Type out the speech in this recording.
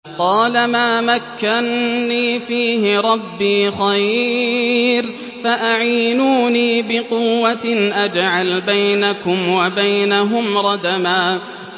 قَالَ مَا مَكَّنِّي فِيهِ رَبِّي خَيْرٌ فَأَعِينُونِي بِقُوَّةٍ أَجْعَلْ بَيْنَكُمْ وَبَيْنَهُمْ رَدْمًا